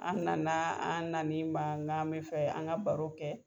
An nana an nan'i ma nka mi fɛ an ga baro kɛ.